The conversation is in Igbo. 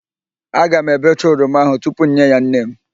Aga m ebecha oroma ahụ tupu m nye ya nnenne m.